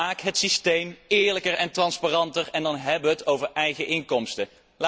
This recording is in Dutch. Maak het systeem eerlijker en transparanter, en dan hebben we het over eigen inkomsten.